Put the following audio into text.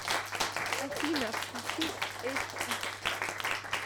афина включи эсикс